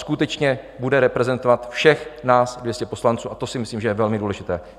Skutečně bude reprezentovat všech nás 200 poslanců, a to si myslím, že je velmi důležité.